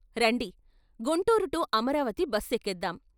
రండి Guntur to Amaravati bus ఎక్కేద్దాం.